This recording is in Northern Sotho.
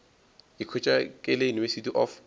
ikhwetša ke le university of